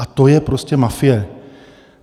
A to je prostě mafie.